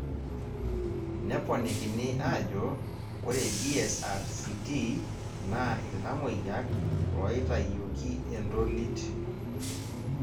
neponikini ajo, ore DSRCT naa iltamoyiak looitayioki entolit.